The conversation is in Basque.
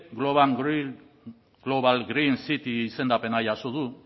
global green city izendapena jaso du